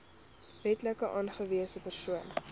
wetlik aangewese persoon